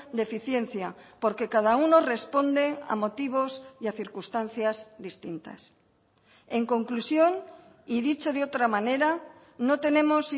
de eficiencia porque cada uno responde a motivos y a circunstancias distintas en conclusión y dicho de otra manera no tenemos